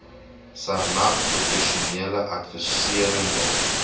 sarnap professionele adviserende